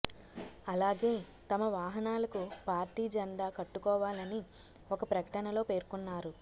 అలాగే తమ వాహనాలకు పార్టీ జెండా కట్టుకోవాలని ఒక ప్రకటనలో పేర్కొన్నారు